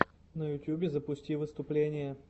на ютюбе запусти выступления